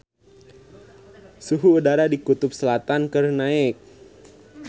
Suhu udara di Kutub Selatan keur naek